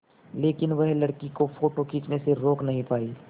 लेकिन वह लड़की को फ़ोटो खींचने से रोक नहीं पाई